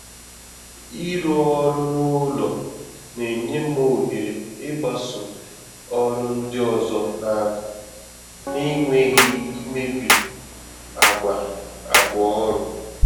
Ịrụ ọrụ n’ụlọ na-enye m ohere ịgbàsò ọrụ ndị ọzọ n’akụkụ, n’enweghị ịmébi àgwà àgwà ọrụ